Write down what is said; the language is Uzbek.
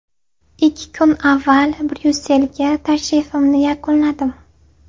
Ikki kun avval Bryusselga tashrifimni yakunladim.